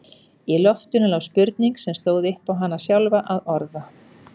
Í loftinu lá spurning sem stóð upp á hana sjálfa að orða.